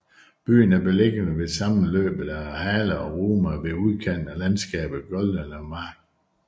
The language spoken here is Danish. Byen er beliggende ved sammenløbet af Hahle og Rhume ved udkanten af landskabet Goldene Mark